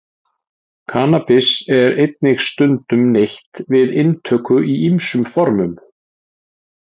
Kannabis er einnig stundum neytt við inntöku í ýmsum formum.